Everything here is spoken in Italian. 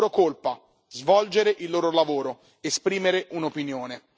La loro colpa svolgere il loro lavoro, esprimere un'opinione.